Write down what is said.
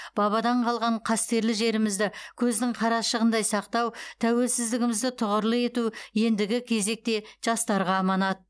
бабадан қалған қастерлі жерімізді көздің қарашығындай сақтау тәуелсіздігімізді тұғырлы ету ендігі кезекте жастарға аманат